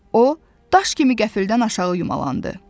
O, daş kimi qəfildən aşağı yumalandı.